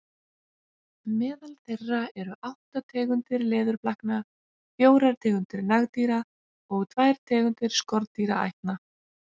Meðal þeirra eru átta tegundir leðurblakna, fjórar tegundir nagdýra og tvær tegundir skordýraætna.